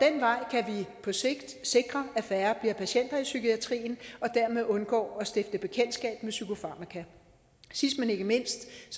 på sigt sikre at færre bliver patienter i psykiatrien og dermed undgår at stifte bekendtskab med psykofarmaka sidst men ikke mindst